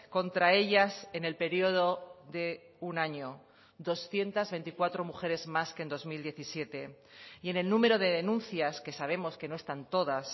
contra ellas en el periodo de un año doscientos veinticuatro mujeres más que en dos mil diecisiete y en el número de denuncias que sabemos que no están todas